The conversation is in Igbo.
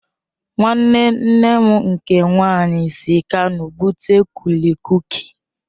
Nwanne nne m nke nwaanyị si Kano bute kulikuki